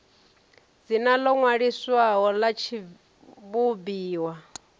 dzina ḽo ṅwaliswaho ḽa tshivhumbiwa